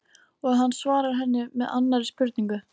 Og hann svarar henni með annarri spurningu